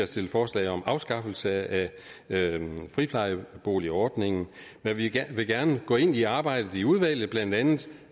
stillet forslag om afskaffelse af friplejeboligordningen men vi vil gerne gå ind i arbejdet i udvalget blandt andet